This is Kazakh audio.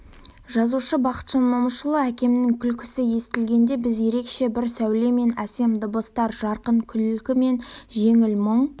жазушы бақытжан момышұлы әкемнің күлкісі естелігінде біз ерекше бір сәуле мен әсем дыбыстар жарқын күлкі мен жеңіл мұң